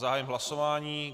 Zahájím hlasování.